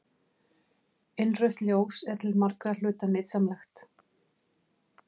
Innrautt ljós er til margra hluta nytsamlegt.